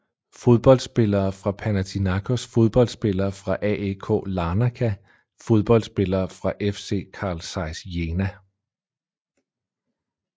Fodboldspillere fra Panathinaikos Fodboldspillere fra AEK Larnaka Fodboldspillere fra FC Carl Zeiss Jena